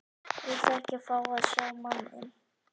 Viltu ekki fá að sjá manninn?